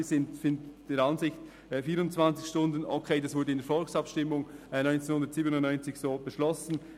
Wir sind der Ansicht, dass die 24 Stunden 1997 im Rahmen der Volksabstimmung so beschlossen worden sind und das okay ist.